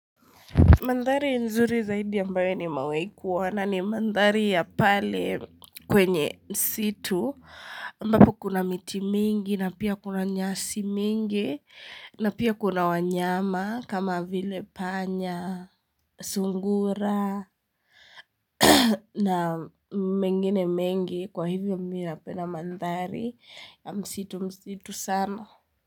Mandhari nzuri zaidi ambayo nimewahi kuona ni mandhari ya pale kwenye msitu, ambapo kuna miti mingi na pia kuna nyasi mingi na pia kuna wanyama kama vile panya, sungura na mengine mengi kwa hivyo mi na penda mandhari ya msitu msitu sana.